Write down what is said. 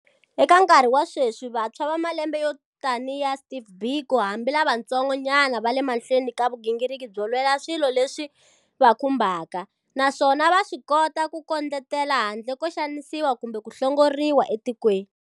Eka nkarhi wa sweswi, vantshwa va malembe yo tanihi ya Steve Biko hambi lavantsongo nyana va le mahlweni ka vugingiriki byo lwela swilo leswi va khumbaka, naswona va swi kota ku kondletela handle ko xanisiwa kumbe ku hlongoriwa etikweni.